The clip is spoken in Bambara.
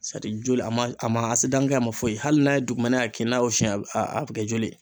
joli a ma a ma kɛ a ma foyi. Hali n'a ye dugumɛnɛ y'a kin n'a y'o fiɲɛ a be kɛ joli ye.